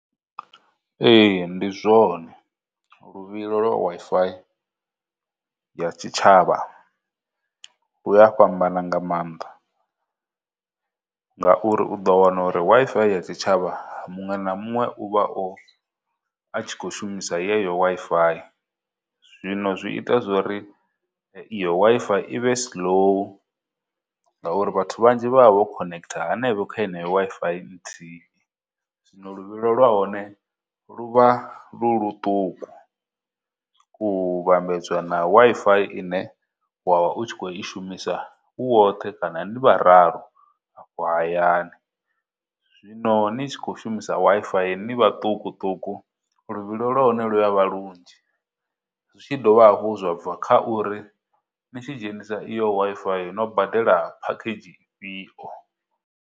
Ee, ndi zwone, luvhilo lwa Wi-Fi ya tshitshavha luya fhambana nga maanḓa, ngauri u ḓo wana uri ya Wi-Fi ya tshitshavha, muṅwe na muṅwe u vha o, a tshi khou shumisa yeneyo Wi-Fi, zwino zwi ita zwori iyo Wi-Fi i vhe slow ngauri vhathu vhanzhi vha vha vho connector hanevho kha Wi-Fi nthihi. Zwino luvhilo lwahone lu vha lu ḽuṱuku u vhambedzwa na Wi-Fi ine wa vha u tshi khou i shumisa u woṱhe kana ni vhararu afho hayani. Zwino ni tshi khou shumisa Wi-Fi ni vhaṱukuṱuku luvhilo lwahone luya vha lunzhi, zwi tshi dovha hafhu zwa bva kha uri ni tshi dzhenisa iyo Wi-Fi no badela package ifhio.